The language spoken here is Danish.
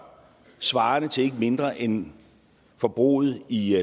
svarende til ikke mindre end forbruget i